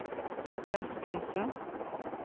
gjeldskrise